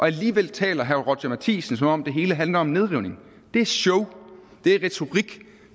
alligevel taler herre roger courage matthisen som om det hele handler om nedrivning det er et show det er retorik